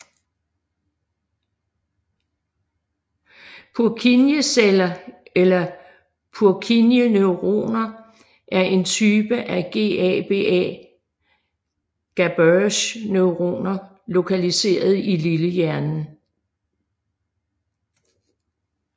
Purkinjeceller eller Purkinjeneuroner er en type af GABAerge neuroner lokaliseret i lillehjernen